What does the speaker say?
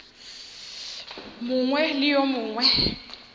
mongwe le yo mongwe ge